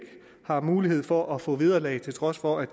har mulighed for at få vederlag til trods for at